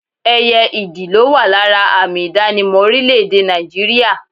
Ẹyẹ ìdì ló wà lára àmì ìdánimọ̀ orílẹ̀ èdè Nàìjíríà